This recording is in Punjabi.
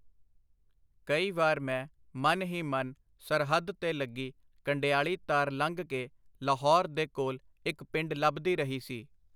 ਕਈ ਵਾਰੀ ਮੈਂ ਮਨ ਹੀ ਮਨ ਸਰਹੱਦ ਤੇ ਲੱਗੀ ਕੰਡਿਆਲੀ ਤਾਰ ਲੰਘ ਕੇ ਲਾਹੌਰ ਦੇ ਕੋਲ ਇੱਕ ਪਿੰਡ ਲੱਭਦੀ ਰਹੀ ਸੀ.